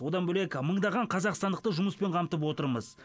одан бөлек мыңдаған қазақстандықты жұмыспен қамтып отырмыз